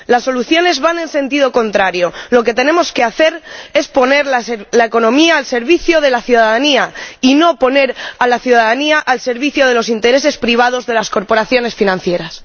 Las soluciones van en sentido contrario lo que tenemos que hacer es poner la economía al servicio de la ciudadanía y no poner a la ciudadanía al servicio de los intereses privados de las corporaciones financieras.